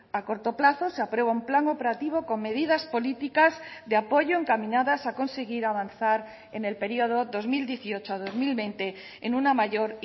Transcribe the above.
a corto plazo se aprueba un plan operativo con medidas políticas de apoyo encaminadas a conseguir avanzar en el periodo dos mil dieciocho dos mil veinte en una mayor